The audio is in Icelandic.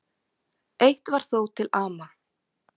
Eitt var þó til ama.